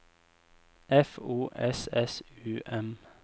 F O S S U M